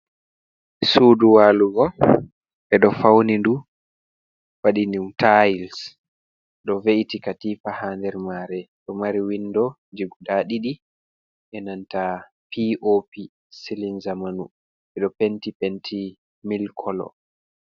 Sudu walugo ɓeɗo fauni ndu waɗi ni ɗum tiles. Ɗo ve'iti katifa ha nder mare ɗo mari windoji guda ɗiɗi be nanta piopi (silin zamanu). Ɓeɗo penti penti milik kolo.